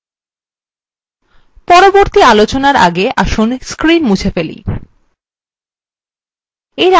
পরবর্তী আলোচনার again আসুন screen মুছে ফেলি